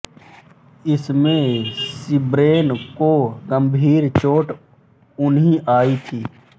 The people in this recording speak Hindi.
इसमें सिब्रेल को गंभीर चोट अन्हीं आई थी